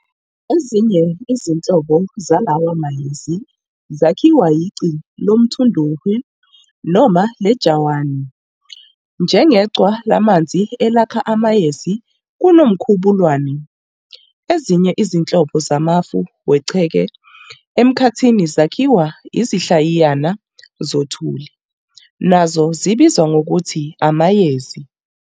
Ezinye izinhlobo zalawa mayezi zakhiwa iqhwa lomthundohwe noma lejawani, njengeqhwa lamanzi elakha amayezi kuNomkhubulwane. Ezinye izinhlobo zamafu wenqeke emkhathini zakhiwa izinhlayiyana zothuli, nazo zibizwa ngokuthi amayezi.